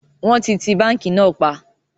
Wọn ti ti báńkì náà pa